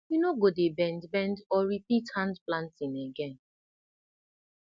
you no go dey bend bend or repeat hand planting again